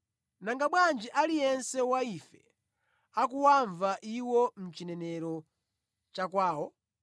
Nanga bwanji aliyense wa ife akuwamva iwo mu chinenero cha kwawo?